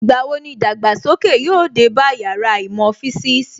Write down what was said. Ìgbà wo ni ìdàgbàsókè yóò dé bá Yàrá īmò fisiisi